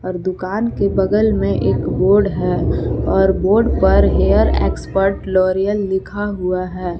दुकान के बगल में एक बोर्ड है और बोर्ड पर हेयर एक्सपर्ट लॉरिअल लिखा हुआ है।